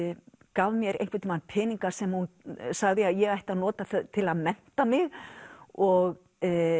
gaf mér einhvern tímann peninga sem hún sagði að ég ætti að nota til að mennta mig og